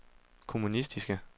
kommunistiske